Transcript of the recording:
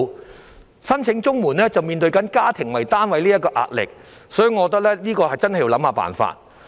如果他申請綜援，便要面對以家庭為單位這項規定的壓力，所以我認為真的要想想辦法。